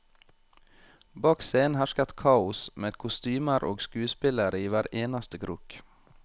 Bak scenen hersket kaos, med kostymer og skuespillere i hver eneste krok.